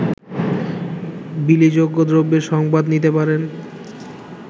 বিলিযোগ্য দ্রব্যের সংবাদ নিতে পারেন